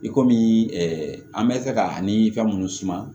I komi an bɛ se ka ni fɛn minnu suma